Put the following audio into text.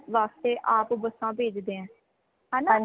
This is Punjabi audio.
ਵਾਸਤੇ ਆਪ ਬਸਾ ਪੇਜ ਹੈ ਹੈਨਾ